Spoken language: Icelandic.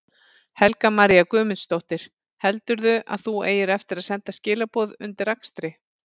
Helga María Guðmundsdóttir: Heldurðu að þú eigir eftir að senda skilaboð undir akstri?